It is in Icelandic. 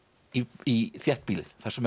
í þéttbýlið þar sem